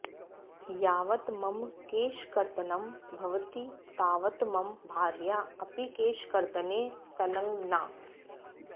यावत् मम केशकर्तनं भवति तावत् मम भार्या अपि केशकर्तने संलग्ना